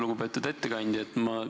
Lugupeetud ettekandja!